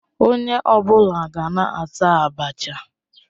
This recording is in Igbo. Onye ọ bụla gaa na-ata Abacha